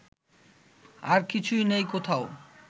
আর কিছু নেই কোথাও